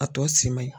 A tɔ si man ɲi